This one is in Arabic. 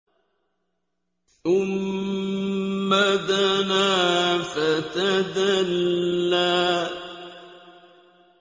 ثُمَّ دَنَا فَتَدَلَّىٰ